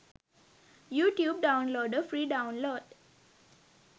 youtube downloader free download